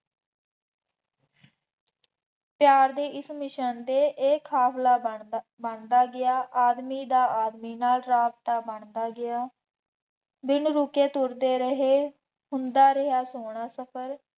ਪਿਆਾਰ ਦੇ ਇਸ ਮਿਸ਼ਨ ਤੇ ਇਹ ਖਾਸਲਾ ਬਣਦਾ ਬਣਦਾ ਗਿਆ ਆਦਮੀ ਦਾ ਆਦਮੀ ਨਾਲ ਰਾਬਤਾ ਬਣਦਾ ਗਿਆ। ਬਿਨ ਰੁਕੇ ਤੁਰਦੇ ਰਹੇ, ਹੁੰਦਾ ਰਿਹਾ ਸੋਹਣਾ ਸਫਰ